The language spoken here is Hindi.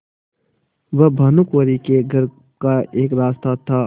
वह भानुकुँवरि के घर का एक रास्ता था